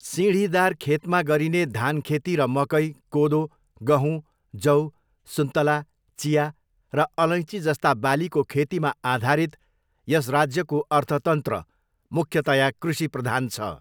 सिँढीदार खेतमा गरिने धानखेती र मकै, कोदो, गहुँ, जौ, सुन्तला, चिया र अलैँचीजस्ता बालीको खेतीमा आधारित यस राज्यको अर्थतन्त्र मुख्यतया कृषिप्रधान छ।